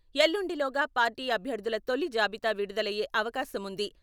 ఎల్లుండిలోగా party అభ్యర్థుల తొలి జాబితా విడుదలయ్యే అవకాశం ఉంది.